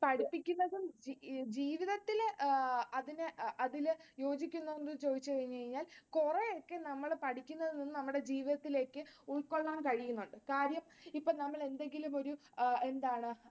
പഠിപ്പിക്കുന്നതും ജീവിതത്തിൽ അത് യോജിക്കുന്നുണ്ടോ എന്ന് ചോദിച്ചുകഴിഞ്ഞു കഴിഞ്ഞാൽ കുറെയൊക്കെ നമ്മൾ പഠിക്കുന്നതിൽനിന്നും നമ്മുടെ ജീവിതത്തിലേക്ക് ഉൾകൊള്ളാൻ കഴിയുന്നുണ്ട്. കാര്യം ഇപ്പൊ നമ്മൾ എന്തെങ്കിലും ഒരു എന്താണ്